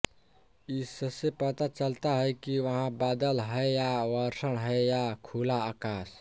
इससे पता चलता है कि वहाँ बादल है या वर्षण है या खुला आकाश